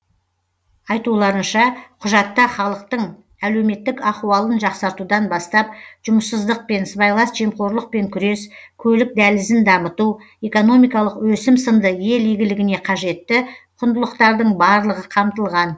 айтуларынша құжатта халықтың әлеуметтік ахуалын жақсартудан бастап жұмыссыздықпен сыбайлас жемқорлықпен күрес көлік дәлізін дамыту экономикалық өсім сынды ел игілігіне қажетті құндылықтардың барлығы қамтылған